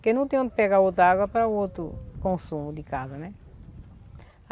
Porque não tem onde pegar outra água para o outro consumo de casa, né?